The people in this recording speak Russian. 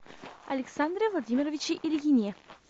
александре владимировиче ильине